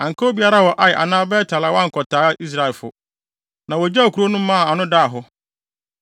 Anka obiara wɔ Ai anaa Bet-el a wankɔtaa Israelfo, na wogyaw kurow no maa ano daa hɔ.